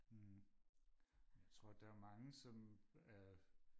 hm jeg tror der er mange som er